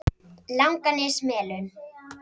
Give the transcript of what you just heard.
Langanesmelum